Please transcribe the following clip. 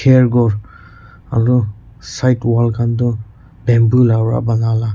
aru kinar wall khan tu bamboo lawa banai la.